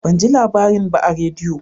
Ban ji labarin ba a rediyo